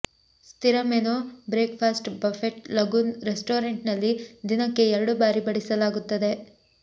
ಸ್ಥಿರ menu breakfast buffet lagoon restaurant ನಲ್ಲಿ ದಿನಕ್ಕೆ ಎರಡು ಬಾರಿ ಬಡಿಸಲಾಗುತ್ತದೆ